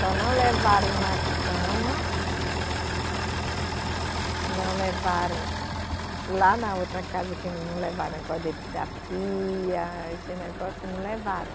Só não levaram uma cama, não levaram. Lá na outra casa que não levaram, negócio da pia, esse negócio, não levaram.